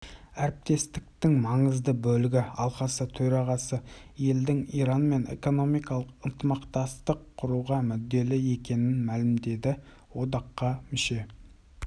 әріптестіктің маңызды бөлігі алқасы төрағасы елдері иранмен экономикалық ынтымақтастық құруға мүдделі екенін мәлімдеді одаққа мүше